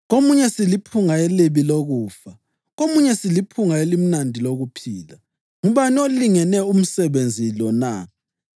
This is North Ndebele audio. Komunye siliphunga elibi lokufa; komunye siliphunga elimnandi lokuphila. Ngubani olingene umsebenzi lo na?